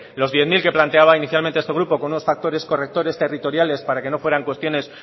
los diez mil que planteaba inicialmente este grupo con unos factores correctores territoriales para que no fueran cuestiones